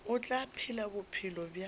o tla phela bophelo bja